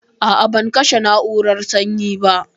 A a ban kashe na'urar sanyi ba.